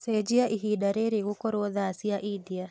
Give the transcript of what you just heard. cenjĩaĩhĩnda riri gũkorwo thaa cĩa india